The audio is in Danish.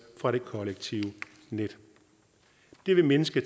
fra det kollektive net det vil mindske